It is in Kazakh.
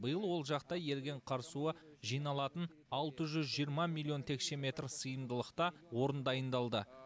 биыл ол жақта еріген қар суы жиналатын алты жүз жиырма миллион текше метр сыйымдылықта орын дайындалды